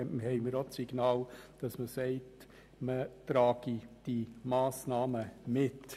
Auch diese hat signalisiert, dass sie die Massnahmen mitträgt.